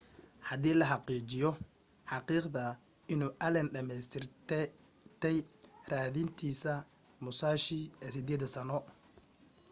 hadii la xaqiijiyo xaqiiqda inuu allen dhameystirtay raadintiisa musashi ee sideeda-sano